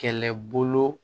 Kɛlɛbolo